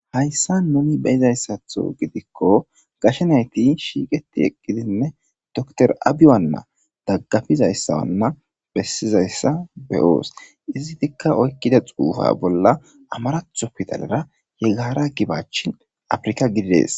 Hayssa nuni beyiza issatho gidikko gashe nayti shiiqeti eqqidinne dotorya Abiy wanna daggapiza issa wanna bessiza issa beyoos. Izitikka oykkida xuufa bolla amaratho pidalara he gaara gibachi afrika gididees.